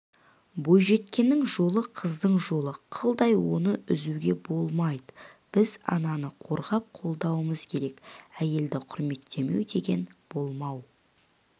бойжеткеннің жолы қыздың жолы қылдай оны үзуге болмайды біз ананы қорғап-қолдауымыз керек әйелді құрметтемеу деген болмау